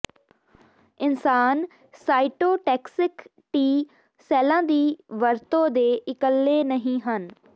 ਇਨਸਾਨ cytotoxic T ਸੈੱਲਾਂ ਦੀ ਵਰਤੋਂ ਦੇ ਇਕੱਲੇ ਨਹੀਂ ਹਨ